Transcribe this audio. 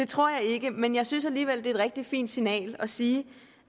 tror jeg ikke men jeg synes alligevel at det er et rigtig fint signal at sige